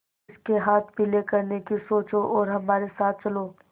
उसके हाथ पीले करने की सोचो और हमारे साथ चलो